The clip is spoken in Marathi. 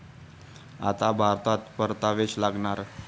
आता भारतात परतावेच लागणार